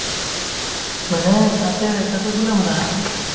মানে তাতে তাতে কোনে বনাই army বিলাকে